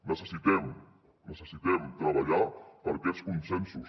necessitem necessitem treballar per aquests consensos